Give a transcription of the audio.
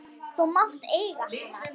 Þú mátt eiga hana!